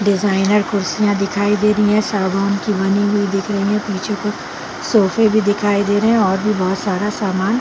designer कुर्सियां दिखाई दे रही है सागोन की बनी हुई दिख रही पीछे कुछ सोफे भी दिखाई दे रहे और भी बहुत सारा सामान--